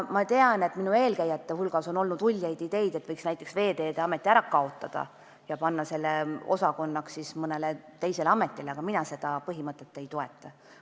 Ma tean, et minu eelkäijatel on olnud uljaid ideid, et võiks näiteks Veeteede Ameti ära kaotada ja muuta selle mõne teise ameti osakonnaks, aga mina seda põhimõtet ei toeta.